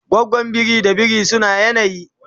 gwagwan biri da biri suna yanayi